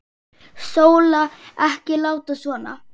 Sóla, ekki láta svona.